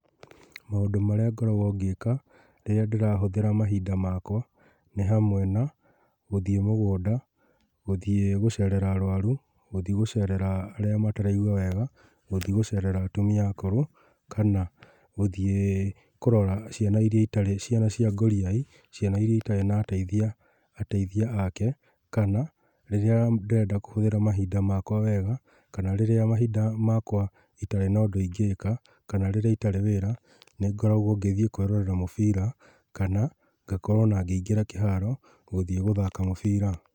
Maũndũ marĩa ngoragwo ngĩĩka, rĩrĩa ndĩrahũthĩra mahinda makwa, nĩ hamwe na, gũthiĩ mũgũnda, gũthiĩ gũcerera arwaru, gũthiĩ gũcerera arĩa mataraigua wega, gũthiĩ gũcerera atumia akũrũ, kana, gũthiĩ kũrora ciana iria itari, ciana cia ngũriai, ciana ĩria itari na ateithia, ateithia ake, kana rĩrĩa ndĩrenda kũhũthĩra mahinda makwa wega, kana rĩrĩa mahinda makwa itarĩ na ũndũ ingĩka, kana rĩrĩa itari wĩra, nĩ ngoragwo ngĩthiĩ kwĩrorera mũbira, kana ngakorwo ona ngĩingĩra kĩharo , gũthiĩ gũthaka mũbira.